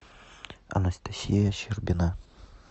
анастасия щербина